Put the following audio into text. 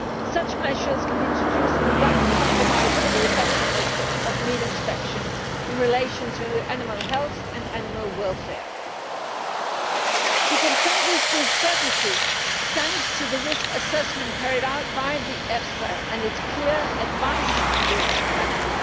Such measures can be introduced without compromising the effectiveness of meat inspection in relation to animal health and animal welfare. We can say this with certainty, thanks to the risk assessment carried out by EFSA and its clear advice on this matter.